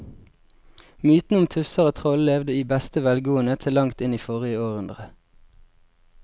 Mytene om tusser og troll levde i beste velgående til langt inn i forrige århundre.